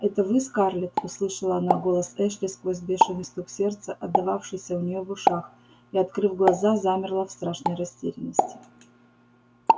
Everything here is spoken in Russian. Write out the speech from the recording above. это вы скарлетт услышала она голос эшли сквозь бешеный стук сердца отдававшийся у неё в ушах и открыв глаза замерла в страшной растерянности